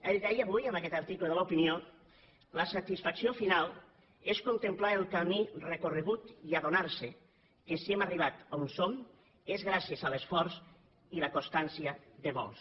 ell deia avui en aquest article de l’opinió la satisfacció final és contemplar el camí recorregut i adonar se que si hem arribat a on som és gràcies a l’esforç i la constància de molts